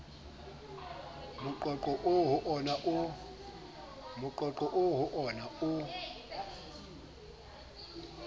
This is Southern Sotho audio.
moqoqo oo ho wona o